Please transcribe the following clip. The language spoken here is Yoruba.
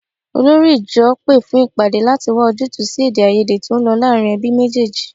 Olórí ìjọ pé fún ìpàdé láti wá ojútùú sí èdèàìyedè tó ń lọ láàárín ẹbí méjèèjì